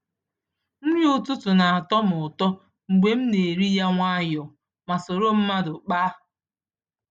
Nri ụtụtụ na-atọ m ụtọ mgbe m na-eri ya nwayọọ ma soro mmadụ kpaa.